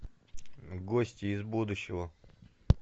гости из будущего